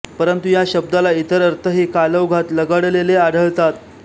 परंतु ह्या शब्दाला इतर अर्थही कालौघात लगडलेले आढळतात